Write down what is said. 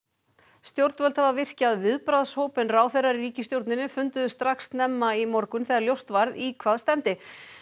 stjórnvöld hafa virkjað viðbragðshóp en ráðherrar í ríkisstjórninni funduðu strax snemma í morgun þegar ljóst varð í hvað stefndi